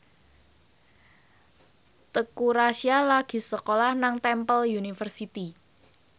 Teuku Rassya lagi sekolah nang Temple University